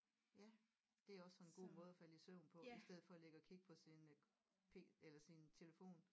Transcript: Ja det er også sådan en god måde at falde i søvn på i stedet for at ligge og kigge på sin øh P eller sin telefon